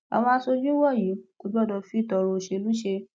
àwọn aṣojú wọnyí kò gbọdọ fi tọrọ òṣèlú ṣe